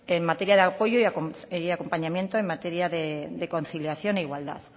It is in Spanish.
en materia de apoyo y acompañamiento y en materia de conciliación e igualdad